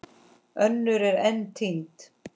Önnur eru enn týnd.